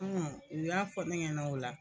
u y'a fɔ ne ɲɛna o la